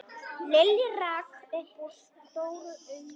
Lilli rak upp stór augu.